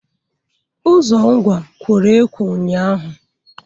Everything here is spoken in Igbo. Ụzọ Ngwá, kworo ekwọ ụnyaahụ.